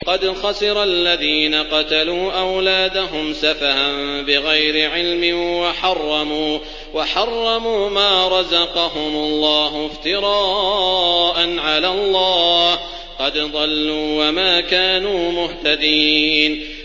قَدْ خَسِرَ الَّذِينَ قَتَلُوا أَوْلَادَهُمْ سَفَهًا بِغَيْرِ عِلْمٍ وَحَرَّمُوا مَا رَزَقَهُمُ اللَّهُ افْتِرَاءً عَلَى اللَّهِ ۚ قَدْ ضَلُّوا وَمَا كَانُوا مُهْتَدِينَ